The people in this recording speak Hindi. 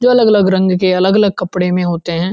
जो अलग-अलग रंग के अलग-अलग कपड़े में होते हैं।